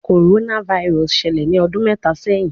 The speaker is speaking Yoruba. Coronavirus ṣẹlẹ ni ọdun mẹta sẹhin